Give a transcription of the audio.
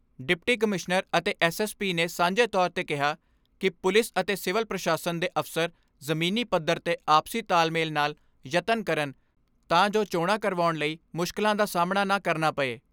Deputy commissioner ਅਤੇ S S P ਨੇ ਸਾਂਝੇ ਤੌਰ 'ਤੇ ਕਿਹਾ ਕਿ ਪੁਲਿਸ ਅਤੇ ਸਿਵਲ ਪ੍ਰਸ਼ਾਸਨ ਦੇ ਅਫ਼ਸਰ ਜ਼ਮੀਨੀ ਪੱਥਰ 'ਤੇ ਆਪਸੀ ਤਾਲਮੇਲ ਨਾਲ ਯਤਨ ਕਰਨ ਤਾਂ ਜੋ ਚੋਣਾਂ ਕਰਵਾਉਣ ਲਈ ਮੁਸ਼ਕਲਾਂ ਦਾ ਸਾਹਮਣਾ ਨਾ ਕਰਨਾ ਪਏ।